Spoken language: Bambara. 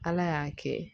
Ala y'a kɛ